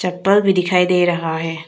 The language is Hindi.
भी दिखाई दे रहा है।